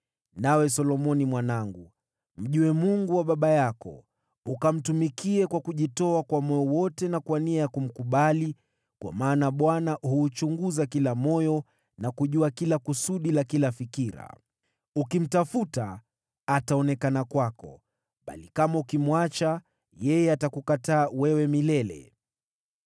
“Nawe Solomoni mwanangu, mjue Mungu wa baba yako, ukamtumikie kwa kujitoa kwa moyo wote na kwa nia ya kumkubali, kwa maana Bwana huuchunguza kila moyo na kujua kila kusudi la kila fikira. Ukimtafuta, ataonekana kwako; bali kama ukimwacha, yeye atakukataa milele.